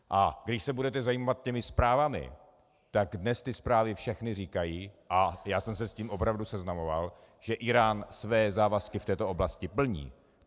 A když se budete zabývat těmi zprávami, tak dnes ty zprávy všechny říkají, a já jsem se s tím opravdu seznamoval, že Írán své závazky v této oblasti plní.